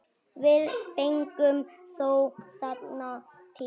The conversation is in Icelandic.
Við fengum þó þennan tíma.